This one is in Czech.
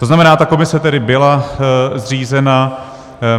To znamená, ta komise tedy byla zřízena.